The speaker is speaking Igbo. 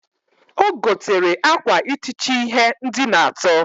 O gotekwere akwa itichi ihe ndina ato.